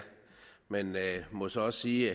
må så også sige